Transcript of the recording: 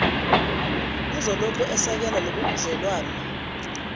uzolokhu esekele lobubudlelwano